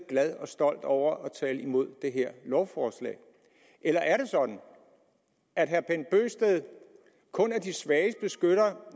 glad og stolt over at tale imod det her lovforslag eller er det sådan at herre bent bøgsted kun er de svages beskytter